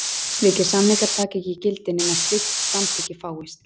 Slíkir samningar taka ekki gildi nema slíkt samþykki fáist.